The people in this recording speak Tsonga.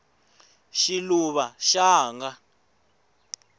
xiluva xanga